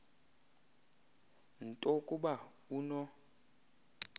nto kuba uno